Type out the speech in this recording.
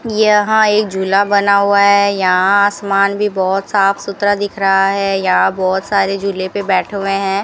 यहां एक झूला बना हुआ है यहां आसमान भी बहोत साफ सुथरा दिख रहा है यहां बहोत सारे झूले पे बैठे हुए हैं।